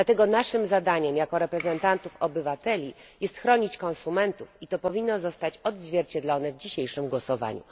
Dlatego naszym zadaniem jako reprezentantów obywateli jest ochrona konsumentów i to powinno zostać odzwierciedlone w dzisiejszym głosowaniu.